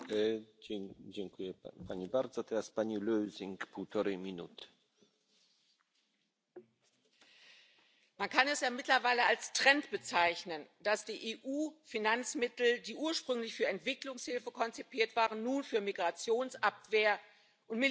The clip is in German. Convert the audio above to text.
Herr Präsident! Man kann es ja mittlerweile als Trend bezeichnen, dass die EU Finanzmittel, die ursprünglich für Entwicklungshilfe konzipiert waren, nun für Migrationsabwehr und Militärisches verwendet